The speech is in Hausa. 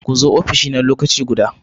Ku zo ofishina lokaci guda!